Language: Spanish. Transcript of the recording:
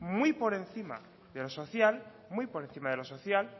muy por encima de lo social